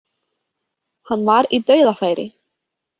Hann var í dauðafæri.